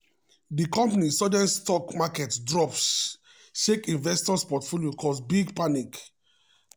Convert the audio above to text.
di company sudden stock market drop shake investors' portfolios cause big panic.